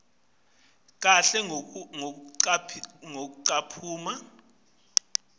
kahle ngekucaphuna encwadzini